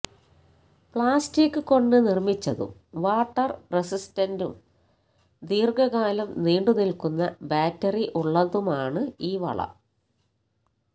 plastic കൊണ്ട് നിര്മിച്ചതും water റെസിസ്റ്റന്റും ദീര്ഘകാലം നീണ്ടുനില്ക്കുന്ന ബാറ്ററി ഉള്ളതുമാണ് ഈ വള